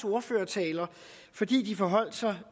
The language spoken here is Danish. ordførertaler fordi de forholdt sig